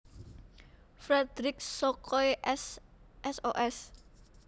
Fredrik Sokoy S Sos